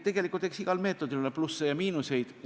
Eks igal meetodil ole plusse ja miinuseid.